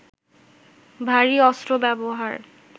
ভারী অস্ত্র ব্যবহার